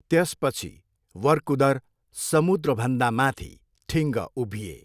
त्यसपछि, वर्कुदर समुद्रभन्दा माथि ठिङ्ग उभिए।